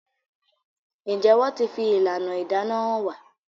Njé wón tí fi ìlànà ìdáná hàn wá?